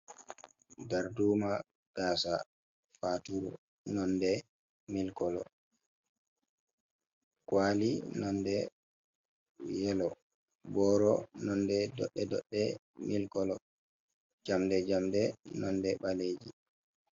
Darduuma gaasa faaturu nonde mili kolo, kuwali nonde yelo, booro nonde doɗɗe doɗɗe mili kolo, jamɗe jamɗe nonde baleeji.